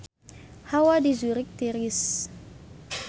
Hawa di Zurich tiris